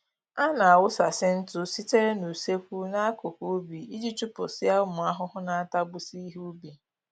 A na-awụsasị ntụ sitere n'usekwu n'akụkụ ubi iji chụpụsịa ụmụ ahụhụ na-atagbusị ihe ubi